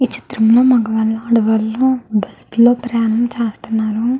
ఈ చిత్రం లో మొగవాళ్ళు ఆడవాళ్లు బస్సు లో ప్రయాణం చేస్తున్నారు.